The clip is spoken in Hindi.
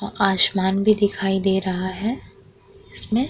और आसमान भी दिखाई दे रहा है इसमें।